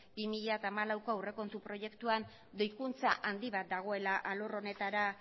bi mila hamalaueko aurrekontu proiektuan gehikuntza handi bat dagoela alor honetara